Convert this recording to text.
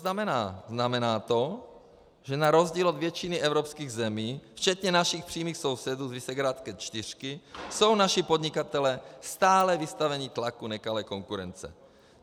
Znamená to, že na rozdíl od většiny evropských zemí, včetně našich přímých sousedů z Visegrádské čtyřky, jsou naši podnikatelé stále vystaveni tlaku nekalé konkurence.